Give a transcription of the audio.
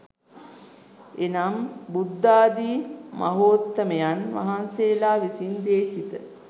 එනම් බුද්ධාදී මහෝත්තමයන් වහන්සේලා විසින් දේශිත